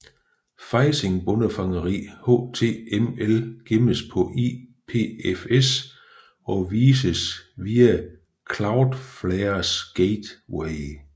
Phishing bondefangeri HTML gemmes på IPFS og vises via Cloudflares gateway